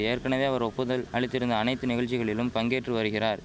ஏற்கனவே அவர் ஒப்புதல் அளித்திருந்த அனைத்து நிகழ்ச்சிகளிலும் பங்கேற்று வருகிறார்